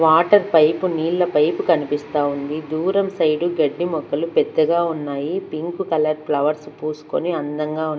Water pipe నీళ్ల pipe కనిపిస్తా ఉంది దూరం సైడు గడ్డి మొక్కలు పెద్దగా ఉన్నాయి పింక్ కలర్ ఫ్లవర్స్ పూసుకొని అందంగా ఉంది.